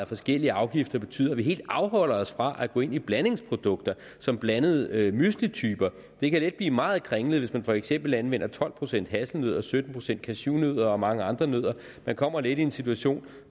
forskellige afgifter betyder at virksomheden helt afholder sig fra at gå ind i blandingsprodukter som blandede müslityper det kan let blive meget kringlet hvis man for eksempel anvender tolv procent hasselnødder sytten procent cashewnødder og mange andre nødder man kommer let i en situation